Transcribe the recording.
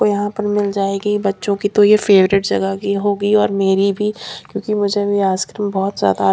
और यहां पर मिल जाएगी बच्चों की तो ये फेवरेट जगह की होगी और मेरी भी क्योंकि मुझे भी आइसक्रीम बहोत ज्यादा--